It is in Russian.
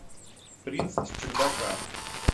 принц с чердака